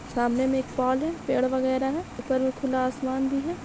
सामने में एक पोल हैं पेड़ वेगरा हैं ऊपर में खुला आसमान भी हैं।